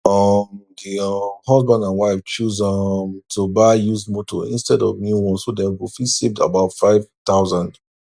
um di um husband and wife choose um to buy used motor instead of new one so dem go fit save about 5000